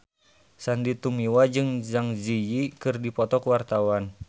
Sandy Tumiwa jeung Zang Zi Yi keur dipoto ku wartawan